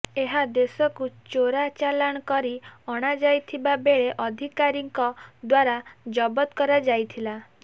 ଏହା ଦେଶକୁ ଚୋରା ଚାଲାଣ କରି ଅଣାଯାଇଥିବା ବେଳେ ଅଧିକାରୀଙ୍କ ଦ୍ୱାରା ଜବତ କରାଯାଇଥିଲା